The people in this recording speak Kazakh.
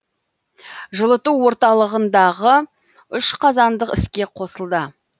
жылыту орталығындағы үш қазандық іске қосылды